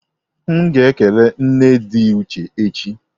M ga ekele nne di Uche echi.